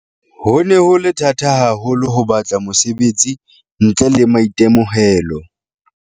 "Ho ne ho le thata haho lo ho batla mosebetsi ntle le maitemohelo."